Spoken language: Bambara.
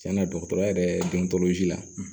Tiɲɛna dɔgɔtɔrɔya yɛrɛ don si la